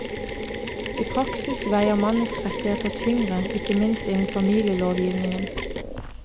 I praksis veier mannens rettigheter tyngre, ikke minst innen familielovgivningen.